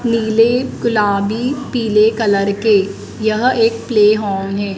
नीले गुलाबी पीले कलर के यह एक प्ले हॉल है।